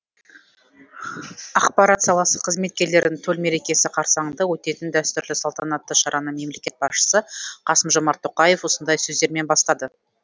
ақпарат саласы қызметкерлерінің төл мерекесі қарсаңында өтетін дәстүрлі салтанатты шараны мемлекет басшысы қасым жомарт тоқаев осындай сөздермен бастады